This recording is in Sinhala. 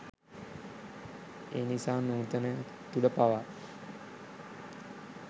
එනිසා නූතනය තුළ පවා